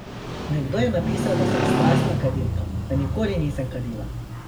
Nekdo je napisal, da sem strastna kadilka, a nikoli nisem kadila.